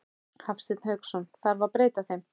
Hafsteinn Hauksson: Þarf að breyta þeim?